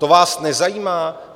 To vás nezajímá?